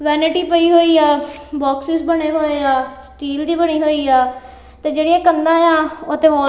vanity ਪਈ ਹੋਇਆ boxes ਬਣੇ ਹੋਇਆ ਸਟੀਲ ਦੀ ਬਣੀ ਹੋਇਆ ਤੇ ਜਿਹੜੀਆਂ ਕੰਧਾਂ ਓਹਤੇ--